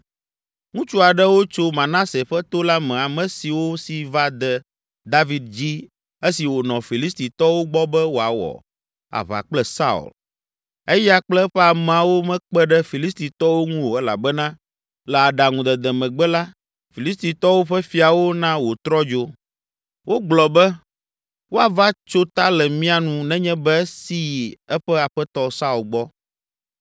Ŋutsu aɖewo tso Manase ƒe to la me ame siwo si va de David dzi esi wònɔ Filistitɔwo gbɔ be wòawɔ aʋa kple Saul. (Eya kple eƒe ameawo mekpe ɖe Filistitɔwo ŋu o elabena le aɖaŋudede megbe la, Filistitɔwo ƒe fiawo na wòtrɔ dzo. Wogblɔ be, “Woava tso ta le mía nu nenye be esi yi eƒe aƒetɔ Saul gbɔ.”)